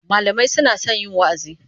Malamai suna son yin wa'azi.